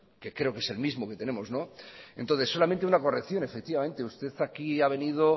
que creo que es el mismo que tenemos entonces solamente una corrección efectivamente usted aquí ha venido